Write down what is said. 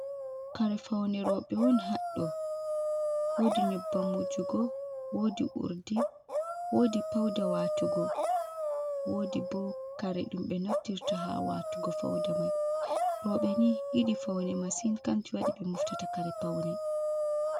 Kare faune roɓe on haɗɗo wodi nyubbam wujugo wodi urdi wodi pauda watugo wodi bo kare dum be naftirta ha watugo fauda mai robe hidi faune masin kanjum wadi be muftata kare paune